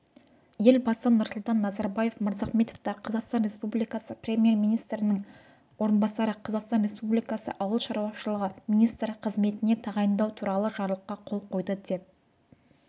елбасы нұрсұлтан назарбаев мырзахметовті қазақстан республикасы премьер-министрінің орынбасары қазақстан республикасы ауыл шаруашылығы министрі қызметіне тағайындау туралы жарлыққа қол қойды деп